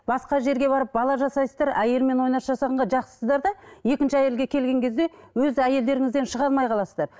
басқа жерге барып бала жасайсыздар әйелмен ойнас жасағанға жақсысыздар да екінші әйелге келген кезде өз әйелдеріңізден шыға алмай қаласыздар